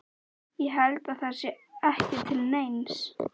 Ég held að það sé ekki til neins.